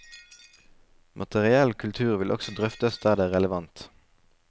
Materiell kultur vil også drøftes der det er relevant.